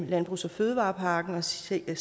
landbrugs og fødevarepakken og sætte